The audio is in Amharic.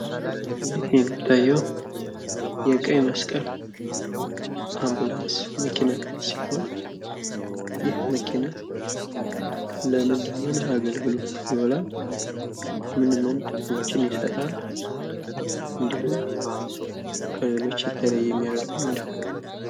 እዚህ የሚታየው የቀይመስቀል አንቡላንስ መኪና ሲሆን ይህ መኪና ለምን ለምን አገልግሎት ይውላል? ምን ምን ጥቅሞችን ይሰጣል እንድሁም ከሌሎች የለየ የሚያደርገው ምንድን ነው?